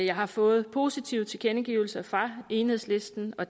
har fået positive tilkendegivelser fra enhedslisten og